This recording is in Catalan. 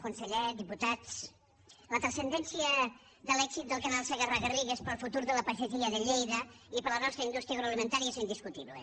conseller diputats la transcendència de l’èxit del canal segarra garrigues per al futur de la pagesia de lleida i per a la nostra indústria agroalimentària és indiscutible